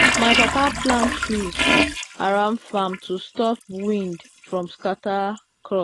my papa plant trees around farm to stop wind from scatter crop.